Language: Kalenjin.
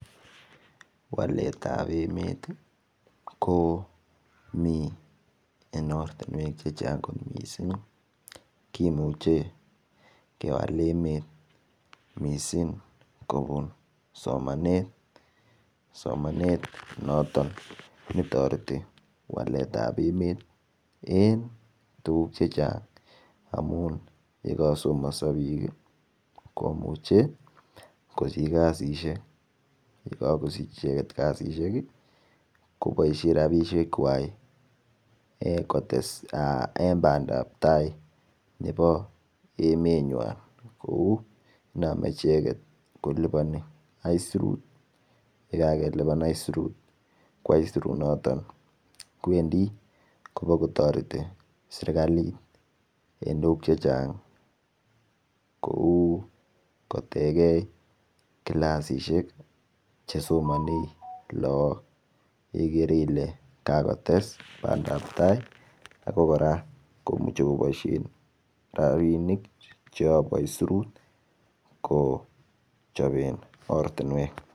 Walet ap emet ko mi eng ortinwek che chang kot mising kimuchei kewal emet mising kopun somanet, somanet noton netoreti walet ap emet en tukuk chechang amun yeka somonso biik komuchei kosich kasishek yekakosich icheket kasishek koboisie ropisiek kwai kotee bandaptai nebo emenywan kou iname icheket kolipan aisirut yikakelipan aisirut ki aisirunoton kowendi kopokotoreti serikalit en tukuk chechang kou kotekee kilasishek chesomonee laak igere ile kakotes bandaptai ako kora kimuchei koboisien ropinik chekapo aisirut kochopen ortinwek